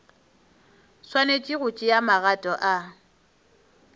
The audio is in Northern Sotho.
swanetše go tšea magato a